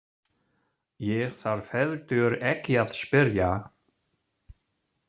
Ég þarf heldur ekki að spyrja.